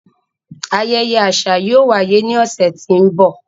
Ayẹyẹ aṣa yóò waye ni ọsẹ ti n bọ.